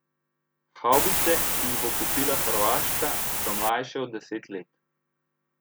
Havbice, ki jih bo kupila Hrvaška, so mlajše od deset let.